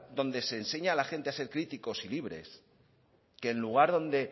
donde se enseña a la gente a ser críticos y libres que el lugar donde